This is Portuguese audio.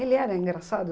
Ele era engraçado?